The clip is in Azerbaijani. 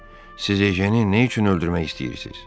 Siz Ejeni nə üçün öldürmək istəyirsiz?